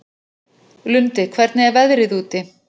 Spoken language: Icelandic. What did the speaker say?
Lundi, hvernig er veðrið úti?